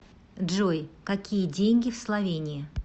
джой какие деньги в словении